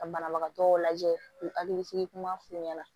Ka banabagatɔ lajɛ u hakili sigi kuma f'u ɲɛna